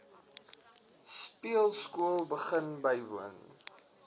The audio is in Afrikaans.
speelskool begin bywoon